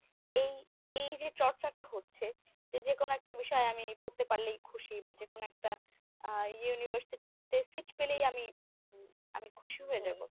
এই এই যে চর্চাটা হচ্ছে যে যেকোনো একটা বিষয়ে আমি পড়তে পারলেই খুশি বা যেকোনো একটা আ university তে seat পেলেই আমি আমি খুশি হয়ে যাবো।